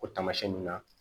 O taamasiyɛn nun na